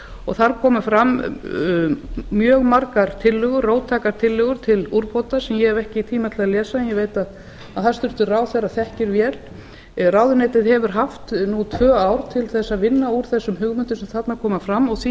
og þar koma fram mjög margar róttækar tillögur til úrbóta sem ég hef ekki tíma til að lesa en ég veit að hæstvirtur ráðherra ekki vel ráðuneytið hefur haft tvö ár til að vinna úr þessum hugmyndum sem þarna koma fram og því